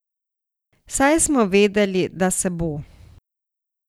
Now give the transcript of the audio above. Saj smo vedeli, da se bo.